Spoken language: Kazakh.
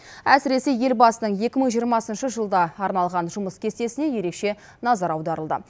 әсіресе елбасының екі мың жиырмасыншы жылға арналған жұмыс кестесіне ерекше назар аударылды